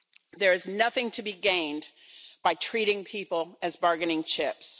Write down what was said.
There is nothing to be gained by treating people as bargaining chips.